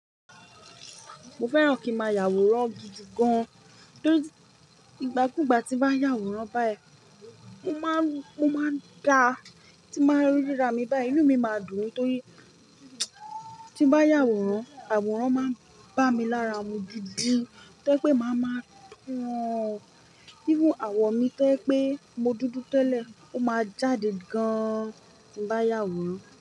Mo fẹ́ràn kí máa yàwòrán gidigan. Torí ìgbàkúgbà tí bá ń yàwòrán báyìí, mo máa ń dá, tí máa ń ríra mi báyìí, inú mi má dùn ní. Torí tí ń bá yàwòrán, àwòrán máa ń bá mi lára mú gidigan. Tó yẹ́ pé má máa ún. Even àwọ̀ mi tó yẹ́ pé mo dúdú tẹ́lẹ̀, ó máa jáde gan tí ń bá yàwòrán.